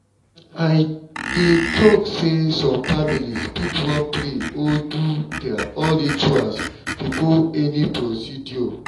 i dey talk say some families fit want to pray or do their own rituals before any procedure.